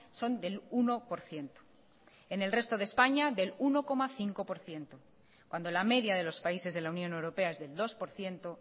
son del uno por ciento en el resto de españa del uno coma cinco por ciento cuando la media de los países de la unión europea es del dos por ciento